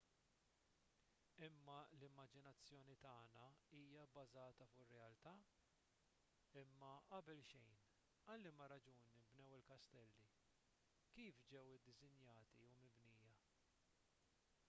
imma l-immaġinazzjoni tagħna hija bbażata fuq ir-realtà imma qabel xejn għal liema raġuni nbnew il-kastelli kif ġew iddisinjati u mibnija